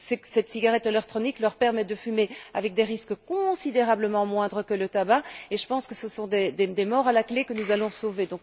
Cette cigarette électronique leur permet de fumer avec des risques considérablement moindres que le tabac et je pense qu'à la clé, ce sont des morts que nous allons sauver.